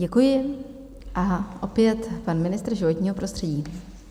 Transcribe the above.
Děkuji a opět pan ministr životního prostředí.